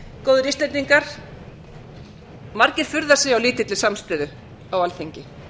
góðir íslendingar margir furða sig á lítilli samstöðu á alþingi